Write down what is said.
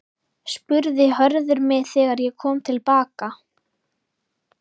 spurði Hörður mig þegar ég kom til baka.